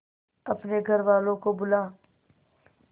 अपने घर वालों को बुला